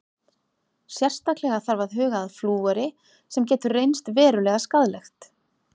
Sérstaklega þarf að huga að flúori sem getur reynst verulega skaðlegt.